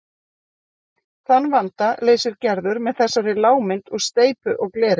Þann vanda leysir Gerður með þessari lágmynd úr steypu og gleri.